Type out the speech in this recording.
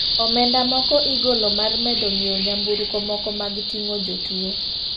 Omenda moko igolo mar medo nyiweo nyamburko moko mag ting'o jotuo.